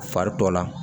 Fari tɔ la